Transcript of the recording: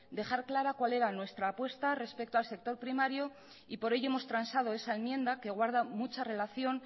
dejar clara cuál era nuestra apuesta respecto al sector primario y por ello hemos transado esa enmienda que guarda mucha relación